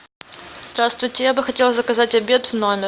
здравствуйте я бы хотела заказать обед в номер